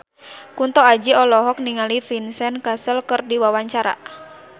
Kunto Aji olohok ningali Vincent Cassel keur diwawancara